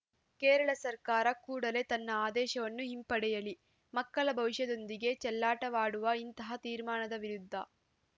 ಕೇರಳ ಸರ್ಕಾರ ಕೂಡಲೇ ತನ್ನ ಆದೇಶವನ್ನು ಹಿಂಪಡೆಯಲಿ ಮಕ್ಕಳ ಭವಿಷ್ಯದೊಂದಿಗೆ ಚೆಲ್ಲಾಟವಾಡುವ ಇಂತಹ ತೀರ್ಮಾನದ ವಿರುದ್ಧ